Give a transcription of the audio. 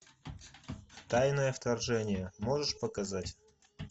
тайное вторжение можешь показать